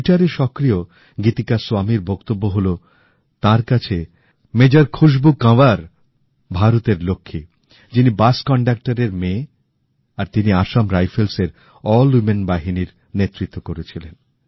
ট্যুইটারে সক্রিয়গীতিকা স্বামীর বক্তব্য হলো তাঁর কাছে মেজর খুশবু কঁয়ার ভারতের লক্ষ্মী যিনি বাস কন্ডাকটরের মেয়ে আর তিনি আসাম রাইফেলসের মহিলা বাহিনীর নেতৃত্ব করেছিলেন